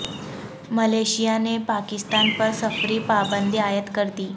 Malaysia نے پاکستان پر سفری پابندی عائد کر دی